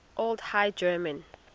old high german